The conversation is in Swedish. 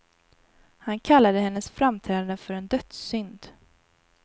Han kallade hennes framträdande för en dödssynd.